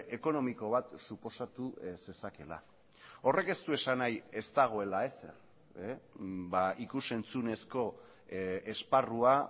ekonomiko bat suposatu zezakeela horrek ez du esan nahi ez dagoela ezer ikus entzunezko esparrua